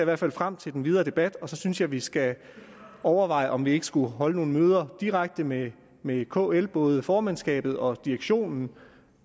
hvert fald frem til den videre debat og så synes jeg vi skal overveje om vi ikke skulle holde nogle møder direkte med med kl både formandskabet og direktionen